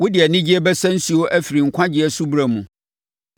Wode anigyeɛ bɛsa nsuo afiri nkwagyeɛ nsubura mu.